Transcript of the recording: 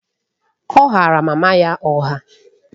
Ọ ghaara mama ya ụgha.